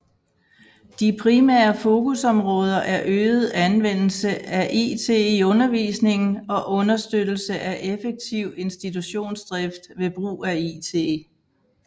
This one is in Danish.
De primære fokusområder er øget anvendelse af it i undervisningen og understøttelse af effektiv institutionsdrift ved brug af it